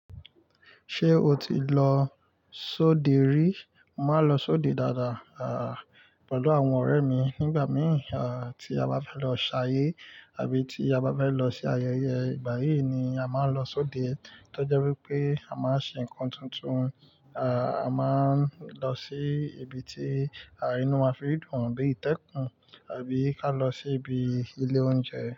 Ṣé o ti lọ sóde rí? Mo máa ń lọ sóde dáadáa, à, pẹ̀lú àwọn ọ̀rẹ́ mi nígbà mìí, à, tí a bá fẹ́ lọ ṣayé àbí tí a bá fẹ́ lọ se ayẹyẹ. Ìgbà yíì ni a máa ń lọ sóde. Tọ́ jẹ́ wípé a máa ń ṣe ǹkan tuntun, à, a máa ń lọ sí ibi tí, à, inú wa fi dùn bíi ìtẹ́kùn àbí ká lọ sí ibi ilé oúnjẹ.